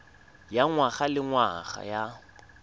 ya ngwaga le ngwaga ya